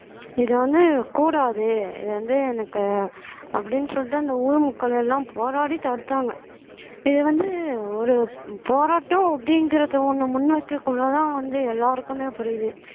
இது வந்து கூடாது இது வந்து எனக்கு அப்படின்னு சொல்லிட்டு அந்த ஊர் மக்கள் எல்லாம் போராடி தடுத்தாங்க இது வந்து ஒரு போராட்டம் அப்படிங்கிறதை ஒண்ணு முன்வைக்கக்குள்ளதான் வந்து எல்லாருக்குமே புரியுது